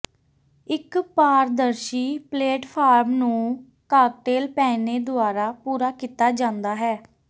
ਇੱਕ ਪਾਰਦਰਸ਼ੀ ਪਲੇਟਫਾਰਮ ਨੂੰ ਕਾਕਟੇਲ ਪਹਿਨੇ ਦੁਆਰਾ ਪੂਰਾ ਕੀਤਾ ਜਾਂਦਾ ਹੈ